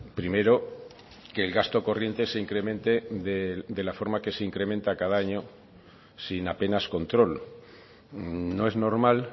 primero que el gasto corriente se incremente de la forma que se incrementa cada año sin apenas control no es normal